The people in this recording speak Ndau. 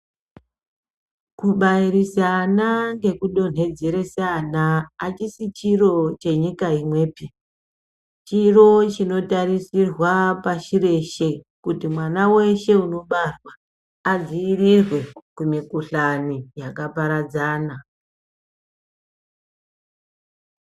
Kubairisa ana nekudonhedzeresa ana achisi chiro chenyika imwepi. Chiro chinotarisirwa pashi reshe kuti mwana weshe unobarwa adziirirwe kumikuhlani yakaparadzana.